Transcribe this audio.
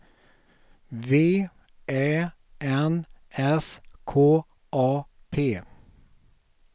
V Ä N S K A P